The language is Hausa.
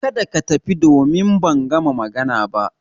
Kada ka tafi, domin ban gama magana ba